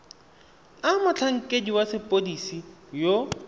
a motlhankedi wa sepodisi yo